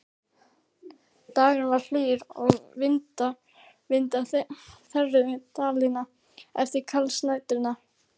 Dagurinn var hlýr og vindar þerruðu Dalina eftir kalsa næturinnar.